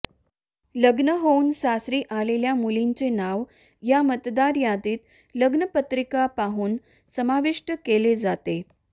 लग्न होऊन सासरी आलेल्या मुलींचे नाव या मतदार यादीत लग्नपत्रिका पाहून समाविष्ट केले जाते